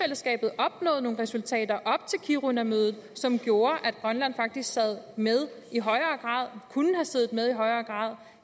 at nogle resultater op til kirunamødet som gjorde at grønland faktisk sad med og siddet med i højere grad